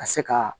Ka se ka